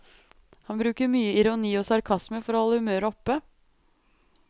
Han bruker mye ironi og sarkasme for å holde humøret oppe.